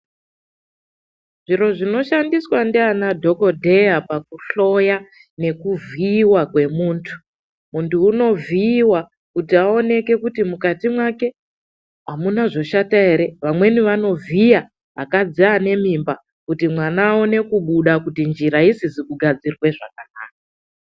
Zviro zvinoshandiswa ndiana dhokodheya pakuhloya nekuvhiyiwa kwemuntu. Muntu unovhiiwa kuti vaone kuti mukati make hamuna zvoshata ere, vamweni vanovhiya vakadzi vane mimba kuti mwana aone kubuda kutinjira isizi kugadzirwa zvakanaka.